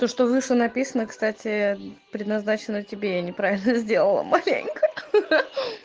то что выше написано кстати предназначена тебе я неправильно сделала маленько ха-ха